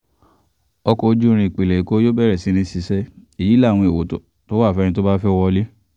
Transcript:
ọkọ̀ ojú irin ìpínlẹ̀ èkó yóò bẹ̀rẹ̀ iṣẹ́ èyí láwọn èèwọ̀ tó wà fún ẹni tó bá fẹ́ẹ́ wọ̀ ọ́